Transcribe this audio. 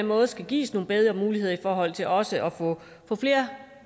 måde skal gives nogle bedre muligheder i forhold til også at få flere